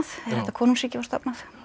þetta konungsríki var stofnað